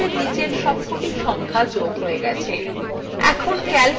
এখন calcএ বিয়োগ করা শেখা যাক